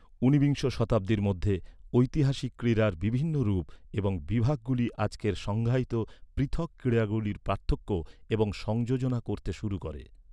ঊনবিংশ শতাব্দীর মধ্যে ঐতিহাসিক ক্রীড়ার বিভিন্ন রূপ এবং বিভাগগুলি আজকের সংজ্ঞায়িত পৃথক ক্রীড়াগুলির পার্থক্য এবং সংযোজনা করতে শুরু করে।